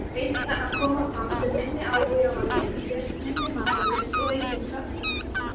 Breytingarnar koma fram sem minni áhugi á að leika sér, minni matarlyst og aukin svefnþörf.